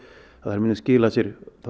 muni skila sér